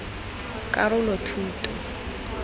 karolothuto